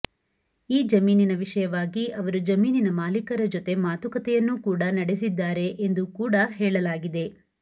ಈ ಜಮೀನಿನ ವಿಷಯವಾಗಿ ಅವರು ಜಮೀನಿನ ಮಾಲಿಕರ ಜೊತೆ ಮಾತುಕತೆಯನ್ನು ಕೂಡಾ ನಡೆಸಿದ್ದಾರೆ ಎಂದು ಕೂಡಾ ಹೇಳಲಾಗಿದೆ